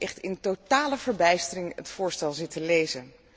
Ik heb echt in totale verbijstering het voorstel zitten lezen.